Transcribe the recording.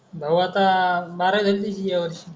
भाऊ आता बारावी झाली त्याची यावर्षी